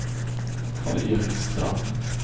Karl-Erik Strand